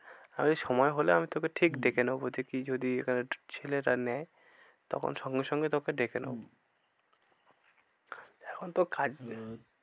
আমি সময় হলে আমি তোকে ঠিক ডেকে নেবো দেখছি যদি এখানে ছেলেটা নেয় তখন সঙ্গে সঙ্গে তোকে ডেকে নেবো এখন তো